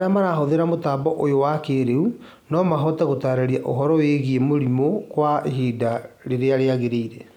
Arĩa marahũthĩra mũtambo ũyũ wa kĩrĩu no mahote gũtarĩria ũhoro wĩgiĩ mĩrimũ kwa ihinda rĩrĩa rĩagĩrĩire